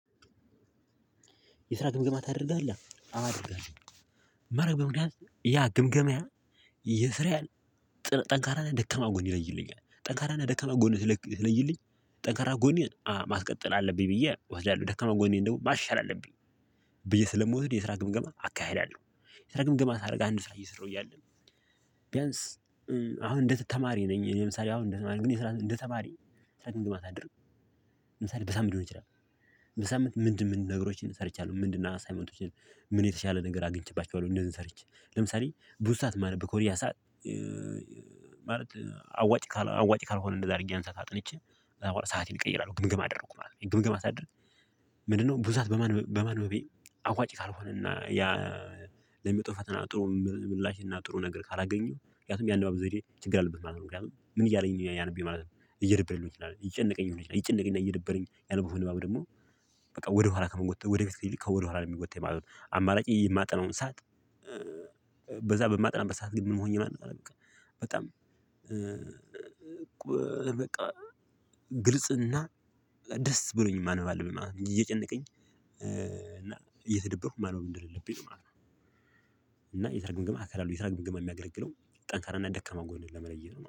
የስራ ግምግማት ታደርገህ አወ አደርጋለሁ። የማደርገው ምክያት ያ ግምገማ። የስራ ያህል ጥር ጠንካራ እና ደከማ ጎን ይለይልኛል። ጠንካራ ላይ ደከማ ጎን ሲለይልኝ ጠንካራ ጎን ማስቀጠል አለብኝ ብዬ እወስዳለሁ። ደካማ ጎኔን ደግሞ ማሻል አለብኝ። ብዬ ስለምወድ የስራ ግምገማ አካሄዳለሁ። የስራ ግምገማ ሳደርግ አንድ ስራ ስራ እየሰራው እያለ። ቢያንስ አሁን እንደ ተማሪ ነኝ እኔ ለምሳሌ አሁን የኔ ስራ እንደ ተማሪ የስራ ምገማ ሳደርግ አትደርም ለምሳሌ በሳምንት ሊሆን ይችላል። በሳምንት ምንድን ምንድን ነገሮችን ሰርቻለሁ ምንድና አሳይመንቶችን ምን የተሻለ ነገር አግኝቼባቸዋለሁ። እነዚህን ሰርቼ ለምሳሌ ብዙ ሰዓት ማነብ ከሆነ ያ ሰዓት። ማለት አዋጭ ካልአዋጭ ካልሆነ እንደዛ አድርጌ ያን ሰዓት አጥንቼ ሰአቴን እቀይራለሁ። ግምገማ አደርጋለሁ ግምገማ ሳደርግ? ምንድን ነው ብዛት በማንበብ በማንበቤ። አዋጭ ካልሆነና ያ ለሚመጣው ፈተና ጥሩ ምላሽና ጥሩ ነገር ካላገኘው ምክንያቱም ያነባበብ ዘዴየ ይሄ ችግር አለበት ማለት ነው። ምክንያቱም ምን እያለኝ ነው ያነበኝ ማለት ነው። እየረበረልኝ ይችላል ይጨነቀኝ ይጨነቀኝ እና እየደበረኝ ያነበኩት ደግሞ። በቃ ወደ ኋላ ከምንጎተው ወደ ፊት ይልቅ ከወደ ኋላ ለመጎተት የማለት አማራጭ የማጠናውን ሰዓት። በማጥናት ሰዓት ግን ምን ሆኜ ማን ነው በቃ? በጣም በቃ ግልፅና ደስ ብሎኝ ማንበብ አለብኝ ማለት ነው። አንጂ አየጨነቀኝ እና አየተደበርኩ ያው አንደሌለብኝ ማለት ነው። አና የስራ ግምገማ አሰራሩ የስራ ግምገማ የሚያገለግለው ጠንካራና ደካማ ጎንህን ለመለየት ነው